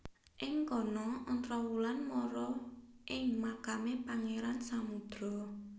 Ing kono Ontrowulan mara ing makame Pangeran Samudro